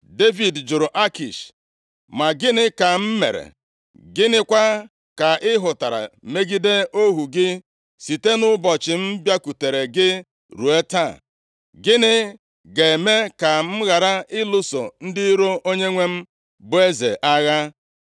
Devid jụrụ Akish, “Ma gịnị ka m mere? Gịnịkwa ka ị hụtara megide ohu gị site nʼụbọchị m bịakwutere gị ruo taa? Gịnị ga-eme ka m ghara ịlụso ndị iro onyenwe m, bụ eze agha?”